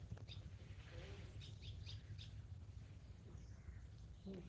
O que você soube?